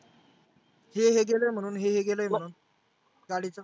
हे हे गेलय हेहे गेलय म्हणून गाडीच.